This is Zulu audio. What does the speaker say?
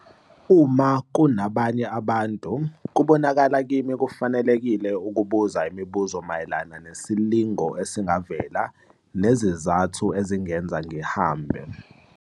Uma kunabanye abantu, kubonakala kimi kufanelekile ukubuza imibuzo mayelana nesilingo esingavela nezizathu ezingenza ngihambe.